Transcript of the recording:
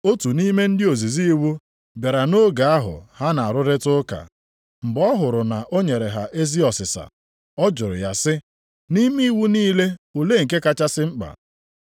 Otu nʼime ndị ozizi iwu bịara nʼoge ahụ ha na-arụrịta ụka. Mgbe ọ hụrụ na o nyere ha ezi ọsịsa, ọ jụrụ ya sị, “Nʼime iwu niile olee nke kachasị mkpa?”